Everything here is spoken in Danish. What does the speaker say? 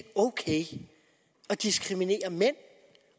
ok at diskriminere mænd